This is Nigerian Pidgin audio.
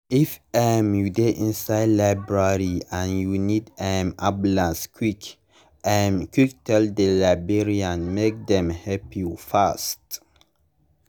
if um you dey inside library and you need um ambulance quick um quick tell the librarian make dem help you fast.